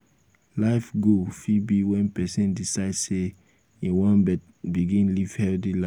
life goal fit be when person decide sey im wan begin live healthy life